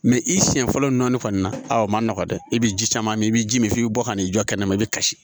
i siɲɛ fɔlɔ nɔni kɔni na a ma nɔgɔn dɛ i bɛ ji caman min i bɛ ji min f'i bɛ bɔ ka n'i jɔ kɛnɛma i bɛ kasi